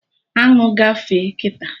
Aṅụ gafee kịta